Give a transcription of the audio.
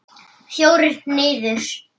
Fjórir niður.